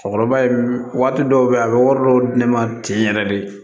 Cɛkɔrɔba ye waati dɔw bɛ yen a bɛ wari dɔw di ne ma ten yɛrɛ de